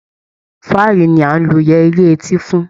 Fáàrí ni à ń lo yẹrí etí fún